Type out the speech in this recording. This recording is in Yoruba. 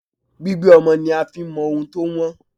Gbígbé ọmọ ni a fi ń mọ ohun tó wọ̀n.